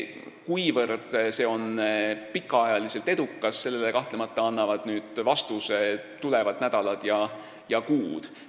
Kuivõrd see on pikaajaliselt edukas, sellele annavad vastuse tulevad nädalad ja kuud.